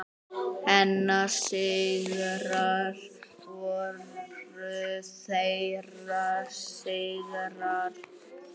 Hennar sigrar voru þeirra sigrar.